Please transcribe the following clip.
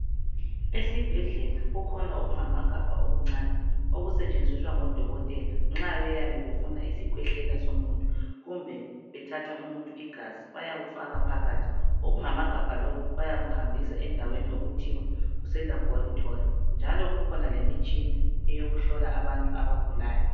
Esibhedlela kukhona okungamagabha okuncane okusetshenziswa ngodokotela nxa beyabe befuna isikhwehlela somuntu, kumbe bethatha umuntu igazi bayawufaka phakathi, okungamagabha lokhu bayakuhambisa endaweni okuthiwa kuse'Laboratory', njalo kukhona lemitshina eyokuhlola abantu abagulayo.